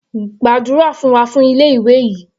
Gbàdúrà fún wa fún ilé ìwé yìí.